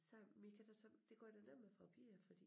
Sagde men I kan da tage det gør det nemmere for æ piger fordi